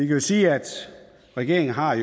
jo sige at regeringen har